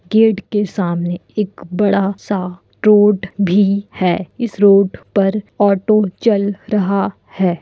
Gate के सामने एक बड़ा-सा रोड भी है| इस रोड पर ऑटो चल रहा है।